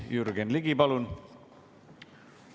Jürgen Ligi, palun!